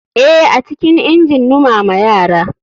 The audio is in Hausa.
Eh, acikin injin numama yara.